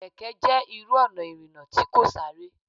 Kẹ̀kẹ́ jẹ́ irú ọ̀nà ìrìnà tí kò sáré.